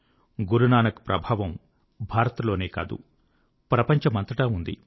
గురునానక్ ప్రభావం భారత్ లోనే కాదు ప్రపంచమంతటా ఉంది